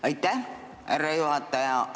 Aitäh, härra juhataja!